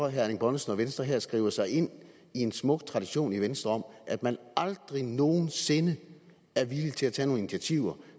at herre erling bonnesen og venstre her skriver sig ind i en smuk tradition i venstre om at man aldrig nogensinde er villig til at tage nogle initiativer